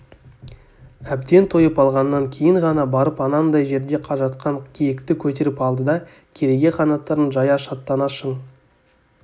әбден тойып алғаннан кейін ғана барып анандай жерде жатқан киікті көтеріп алды да кереге қанаттарын жая шаттана шың